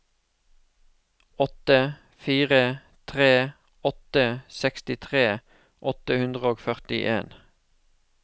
åtte fire tre åtte sekstitre åtte hundre og førtien